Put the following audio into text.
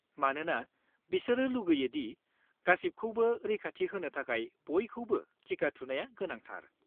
मानोना बिसोर लुगैयो दि गासिबखौबो रैखाथि होनो थाखाय बयखौबो टिका थुनाया गोनांथार।